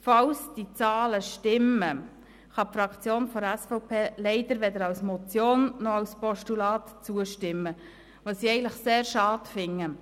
Falls diese Zahlen stimmen, kann die Fraktion der SVP leider weder als Motion noch als Postulat zustimmen, was ich eigentlich sehr schade finde.